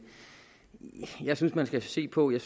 jeg synes man skal se på det